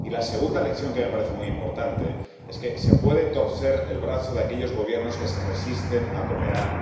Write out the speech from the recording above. Y la segunda lección, que me parece muy importante, es que se puede torcer el brazo de aquellos Gobiernos que se resisten a cooperar.